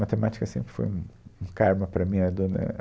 Matemática sempre foi um, um carma para mim. A dona